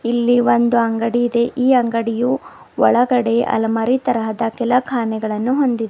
ಇಲ್ಲಿ ಒಂದು ಅಂಗಡಿ ಇದೆ ಈ ಅಂಗಡಿಯೂ ಒಳಗಡೆ ಅಲಮಾರಿ ತರಹದ ಕಿಲಕಾನೆಗಳನ್ನು ಹೊಂದಿದೆ.